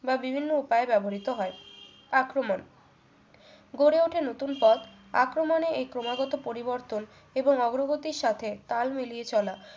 বা বিভিন্ন উপায়ে ব্যবহৃত হয় আক্রমন গড়ে ওঠে নতুন পথ আক্রমণের এই ক্রমাগত পরিবর্তন এবং অগ্রগতির সাথে তাল মিলিয়ে চলা